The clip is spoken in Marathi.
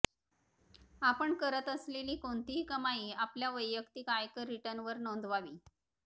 आपण करत असलेली कोणतीही कमाई आपल्या वैयक्तिक आयकर रिटर्नवर नोंदवावी